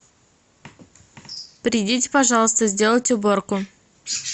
придите пожалуйста сделайте уборку